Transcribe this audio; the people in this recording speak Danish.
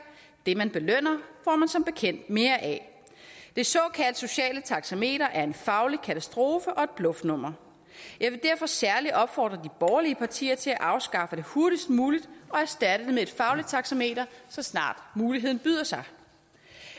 det man belønner får man som bekendt mere af det såkaldt sociale taxameter er en faglig katastrofe og et bluffnummer jeg vil derfor særlig opfordre de borgerlige partier til at afskaffe det hurtigst muligt og erstatte det med et fagligt taxameter så snart muligheden byder sig